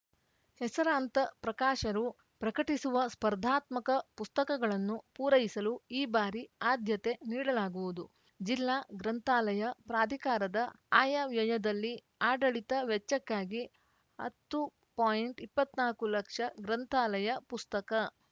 ಹೆಸರಾಂತ ಪ್ರಕಾಶರು ಪ್ರಕಟಿಸುವ ಸ್ಪರ್ಧಾತ್ಮಕ ಪುಸ್ತಕಗಳನ್ನು ಪೂರೈಸಲು ಈ ಬಾರಿ ಆದ್ಯತೆ ನೀಡಲಾಗುವುದು ಜಿಲ್ಲಾ ಗ್ರಂಥಾಲಯ ಪ್ರಾಧಿಕಾರದ ಆಯವ್ಯಯದಲ್ಲಿ ಆಡಳಿತ ವೆಚ್ಚಕ್ಕಾಗಿ ಹತ್ತು ಪಾಯಿಂಟ್ಇಪ್ಪತ್ನಾಕು ಲಕ್ಷ ಗ್ರಂಥಾಲಯ ಪುಸ್ತಕ